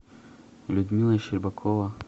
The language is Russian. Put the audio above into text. людмила щербакова